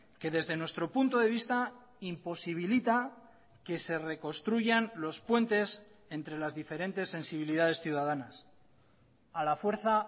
que desde nuestro punto de vista imposibilita que se reconstruyan los puentes entre las diferentes sensibilidades ciudadanas a la fuerza